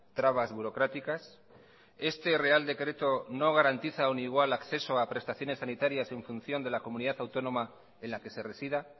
trabas burocráticas este real decreto no garantiza un igual acceso a prestaciones sanitarias en función de la comunidad autónoma en la que se resida